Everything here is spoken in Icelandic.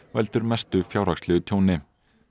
veldur mestu fjárhagslegu tjóni